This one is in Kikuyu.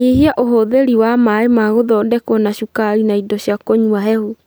Nyihia ũhũthĩri wa maĩ ma gũthondekwo na cukari na indo cia kũnyua hehu